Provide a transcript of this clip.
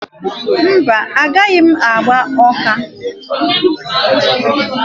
Mba, agaghị m akwaga Ọka